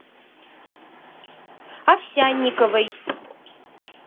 овсянниковой